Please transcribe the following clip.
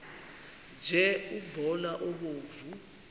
nje umbona obomvu